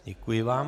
Děkuji vám.